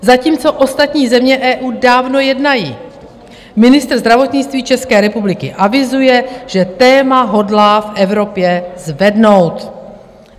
Zatímco ostatní země EU dávno jednají, ministr zdravotnictví České republiky avizuje, že téma hodlá v Evropě zvednout?